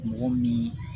Mɔgɔw ni